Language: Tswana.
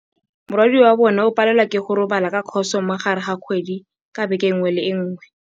Morwadia wa bone o palelwa ke go robala ka khôsô mo gare ga kgwedi ka beke nngwe le nngwe.